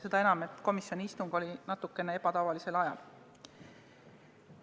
Seda enam, et komisjoni istung oli natukene ebatavalisel ajal.